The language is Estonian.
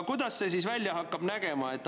Kuidas see siis välja nägema hakkab?